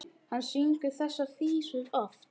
Hann syngur þessar vísur oft.